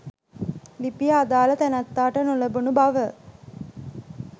ලිපිය අදාළ තැනැත්තාට නොලැබුණු බව